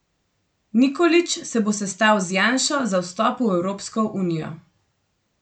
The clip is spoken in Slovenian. Nikolić se bo sestal z Janšo za vstop v Evropsko unijo.